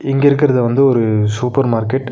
இங்க இருக்கிறது வந்து ஒரு சூப்பர் மார்க்கெட் .